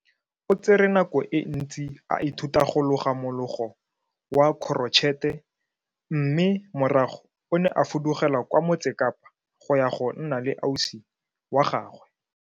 O tsere nako e ntsi a ithuta go loga mologo wa korotšhete mme morago o ne a fudugela kwa Motse Kapa go ya go nna le ausi wa gagwe.